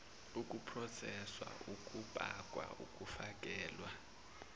ukuproseswa ukupakwa ukufakelwa